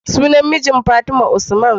Sunan mijin fatima usman